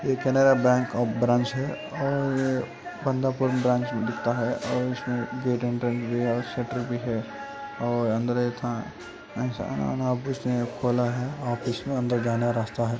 ये Canara bank of branch है। ओर दिखता है। ओर एसमे भी है। और शठर भी है। और ऑफिस मे इसमे अंदर जानेका रास्ता है।